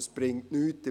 Es bringt nichts.